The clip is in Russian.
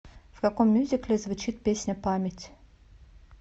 в каком мюзикле звучит песня память